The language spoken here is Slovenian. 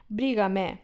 Briga me.